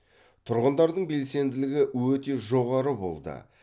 тұрғындардың белсенділігі өте жоғары болды